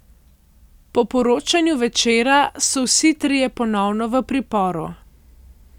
Po poročanju Večera so vsi trije ponovno v priporu.